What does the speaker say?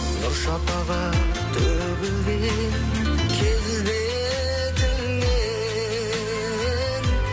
нұр шапағат төгілген келбетіңнен